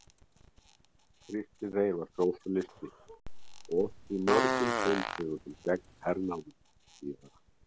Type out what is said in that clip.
Kristinn Reyr var sósíalisti og orti í mörgum tóntegundum gegn hernáminu síðara.